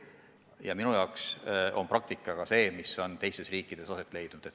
Ja minu jaoks on praktika see, mis on teistes riikides aset leidnud.